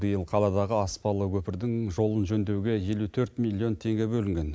биыл қаладағы аспалы көпірдің жолын жөндеуге елу төрт миллион теңге бөлінген